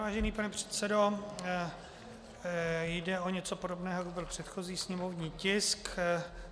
Vážený pane předsedo, jde o něco podobného, jako byl předchozí sněmovní tisk.